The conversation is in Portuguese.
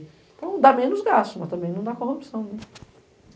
Então, dá menos gasto, mas também não dá corrupção.